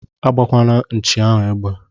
Agbakwana nchi ahu egbe!!